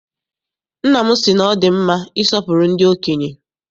Nna m sị na ọ dị mma isọpụrụ ndị okenye.